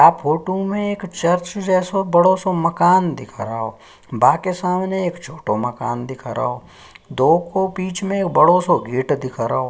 आ फोटो में चर्च जैसो बदो सो मकान दिख रहो बाकि सामने एक छोटो मकान दिख रहो दो को बिच में एक बड़ो सो गेट दिख रहो।